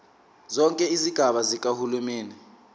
zonke izigaba zikahulumeni